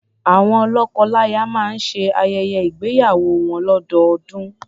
Awọn lọ́kọlaya máa ń ṣe ayẹyẹ ígbéyàwó wọn lọ́dọọdún.